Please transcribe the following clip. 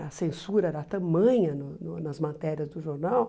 A censura era tamanha no no nas matérias do jornal.